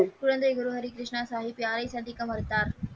குழந்தை குரு ஹரி கிருஷ்ணா சாகிப் யாரை சந்திக்க மறுத்தார்?